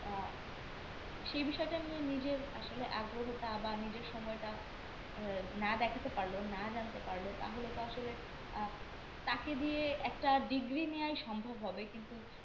আহ সেই বিষয়টার নিয়ে নিজের আসলে আগ্রহটা বা নিজের আহ সময়টা না দেখাতে পারল না জানতে পারল তাহলে তো আসলে আহ তাকে দিয়ে একটা Degree নেওয়াই সম্ভব হবে কিন্তু